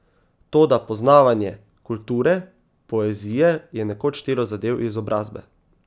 Toda poznavanje kulture, poezije je nekoč štelo za del izobrazbe.